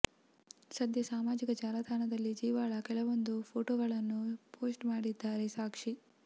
ಸದ್ಯ ಸಾಮಾಜಿಕ ಜಾಲತಾಣದಲ್ಲಿ ಜೀವಾಳ ಕೆಲವೊಂದು ಫೋಟೋಗಳನ್ನು ಪೋಸ್ಟ್ ಮಾಡಿದ್ದಾರೆ ಸಾಕ್ಷಿ